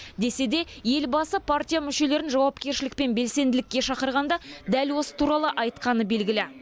десе де елбасы партия мүшелерін жауапкершілік пен белсенділікке шақырғанда дәл осы туралы айтқаны белгілі